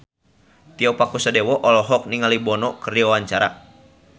Tio Pakusadewo olohok ningali Bono keur diwawancara